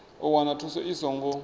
u wana thuso i songo